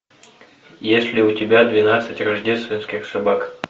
есть ли у тебя двенадцать рождественских собак